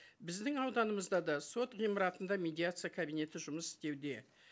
біздің ауданымызда да сот ғимаратында медиация кабинеті жұмыс істеуде